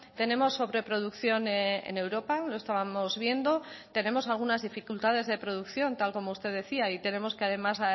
tenemos sobreproducción en europa lo estábamos viendo tenemos algunas dificultades de producción tal como usted decía y tenemos que además